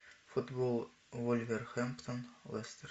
футбол вулверхэмптон лестер